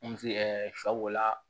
shɛ b'o la